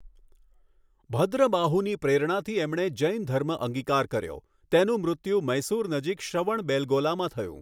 ભદ્રબાહુની પ્રેરણાથી એમણે જૈનધર્મ અંગીકાર કર્યો તેનું મૃત્યુ મૈસુર નજીક શ્રવણબેલગોલામાં થયું.